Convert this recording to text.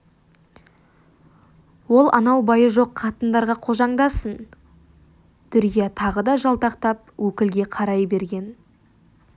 ол анау байы жоқ қатындарға қожаңдасын дүрия тағы да жалтақтап өкілге қарай берген